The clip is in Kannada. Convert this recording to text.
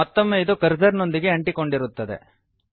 ಮತ್ತೊಮ್ಮೆ ಇದು ಕರ್ಸರ್ ನೊಂದಿಗೆ ಅಂಟಿಕೊಂಡಿರುತ್ತದೆ